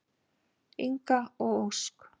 Inga og Ósk.